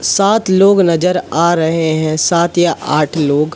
सात लोग नजर आ रहे हैं सात या आठ लोग।